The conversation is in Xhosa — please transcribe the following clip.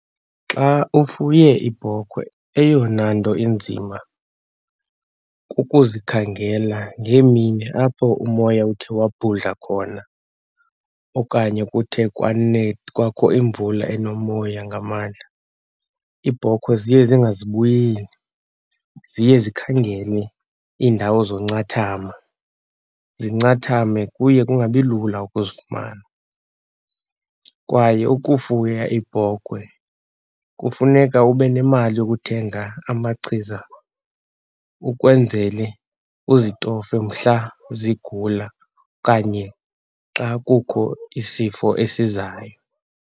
Xa ufuye iibhokhwe, eyona nto inzima kukuzikhangela ngeemini apho umoya uthe wabhudla khona okanye kuthe kwakho imvula enomoya ngamandla. Iibhokhwe ziye zingazibuyeli, ziye zikhangele iindawo zoncathama zincathame. Kuye kungabi lula ukuzifumana. Kwaye ukufuya iibhokhwe kufuneka ube nemali yokuthenga amachiza ukwenzele uzitofe mhla zigula kanye xa kukho isifo esizayo.